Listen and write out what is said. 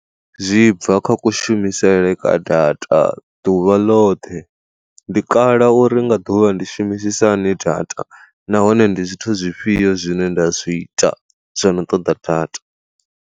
Zwi bva kha kushumisele kwa data ḓuvha ḽoṱhe, ndi kale uri nga ḓuvha ndi shumisisa hani data nahone ndi zwithu zwifhio zwine nda zwi ita zwono ṱoḓa data.